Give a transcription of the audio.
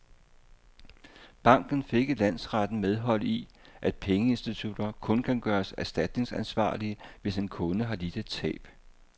Banken fik i landsretten medhold i, at pengeinstitutter kun kan gøres erstatningsansvarlige, hvis en kunde har lidt et tab.